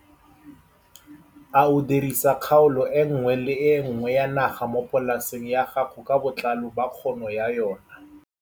A o dirisa kgaolo e nngwe le e nngwe ya naga mo polaseng ya gago ka botlalo ba kgono ya yona?